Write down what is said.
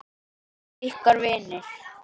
Ykkar vinir.